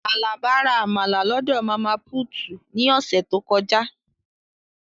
Alaba ra Amala lọdọ Mama Puutu ni ose to koja.